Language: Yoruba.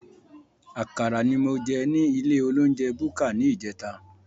Àkàrà ní mo jẹ ní ilé olounjẹ búkà ní ìjẹta